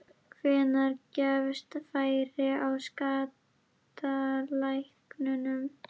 Hvenær gefst færi á skattalækkunum?